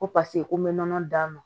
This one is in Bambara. Ko paseke ko n bɛ nɔnɔ d'a ma